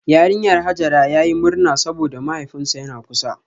Yarinyar Hajara yayi murna saboda mahaifinsa yana kusa